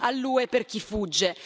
all'UE per chi fugge.